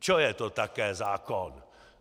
Čo je to taký zákon?